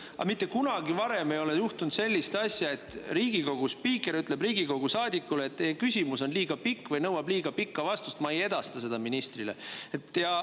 Aga mitte kunagi varem ei juhtunud sellist asja, et Riigikogu spiiker oleks öelnud Riigikogu saadikule, et teie küsimus on liiga pikk või nõuab liiga pikka vastust, seetõttu ma ei edasta seda ministrile.